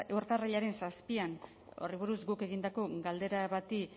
urtarrilaren zazpian horri buruz guk egindako galdera bati